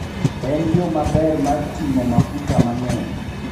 En yo maber mar ting'o mafuta mang'eny.